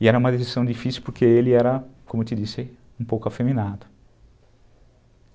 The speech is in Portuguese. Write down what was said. E era uma decisão difícil porque ele era, como eu te disse, um pouco afeminado.